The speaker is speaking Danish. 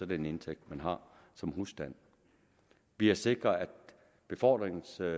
den indtægt man har som husstand vi har sikret at befordringstilskuddet